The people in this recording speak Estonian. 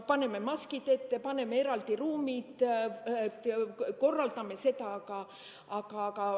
Paneme maskid ette, kohandame eraldi ruumid, korraldame seda.